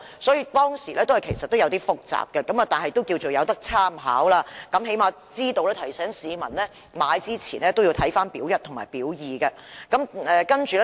雖然《私營骨灰龕資料》有點複雜，但總算有參考價值，起碼可以提醒市民購買龕位前應先查閱"表一"和"表二"。